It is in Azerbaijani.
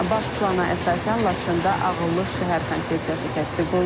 Baş plana əsasən Laçında ağıllı şəhər konsepsiyası tətbiq olunacaq.